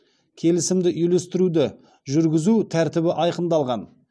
келісімде үйлестіруді жүргізу тәртібі айқындалған